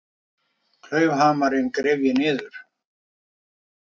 Klaufhamarinn gref ég niður.